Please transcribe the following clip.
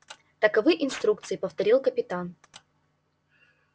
таковы инструкции повторил капитан